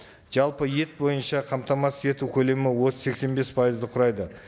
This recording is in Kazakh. жалпы ет бойынша қамтамасыз ету көлемі отыз сексен бес пайызды құрайды